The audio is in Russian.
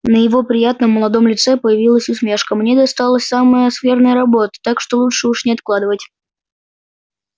на его приятном молодом лице появилась усмешка мне досталась самая скверная работа так что лучше уж не откладывать